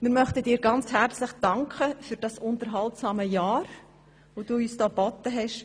Wir möchten dir ganz herzlich für das unterhaltsame Jahr danken, das du uns geboten hast.